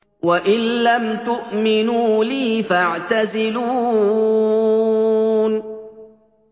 وَإِن لَّمْ تُؤْمِنُوا لِي فَاعْتَزِلُونِ